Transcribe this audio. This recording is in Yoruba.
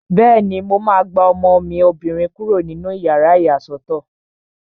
Bẹ́ẹ̀ni, mo máa gba ọmọ mi obìnrin kúrò nínú yàrá ìyàsọ́tọ̀